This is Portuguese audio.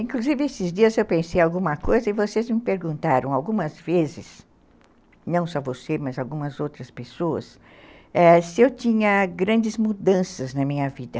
Inclusive, esses dias eu pensei em alguma coisa e vocês me perguntaram algumas vezes, não só você, mas algumas outras pessoas, se eu tinha grandes mudanças na minha vida.